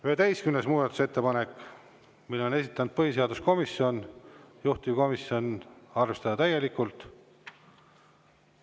Muudatusettepanek nr 11, mille on esitanud põhiseaduskomisjon, juhtivkomisjon: arvestada täielikult.